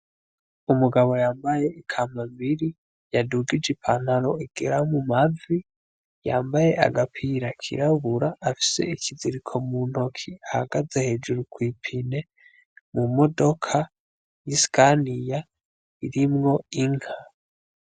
Umugabo yambaye ikambambiri yadugije ipantaro igera mu mavi yambaye agapira k'irabura afise ikiziriko muntoke ahagaze hejuru kw'ipine mu modoka y'isikaniya irimwo Inka.